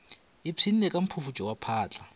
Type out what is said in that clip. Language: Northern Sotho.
ipshinne ka mphufutšo wa phatla